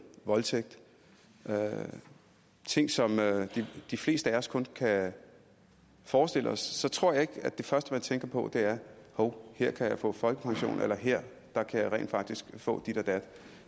voldtægt og ting som de fleste af os kun kan forestille os så tror jeg ikke at det første man tænker på er hov her kan jeg få folkepension eller her kan jeg rent faktisk få dit og dat